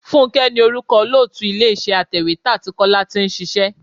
Fúnké ní orúkọ olóòtú ilé iṣẹ́ atèwétà tí Kọ́lá tí ń ṣíṣe.